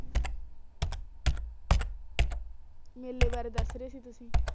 ਮੇਲੇ ਬਾਰੇ ਦਸ ਰਹੇ ਸੀ ਤੁਸੀਂ